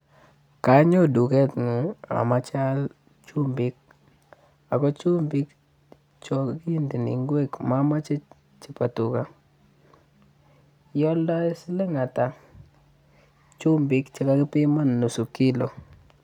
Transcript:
konyon duken nguun omoche aal chumbik ako chumbik chon kindoi ingwek momoche chebo tuka ioldoi siling atak chumbik chekakipiman nusu kilo.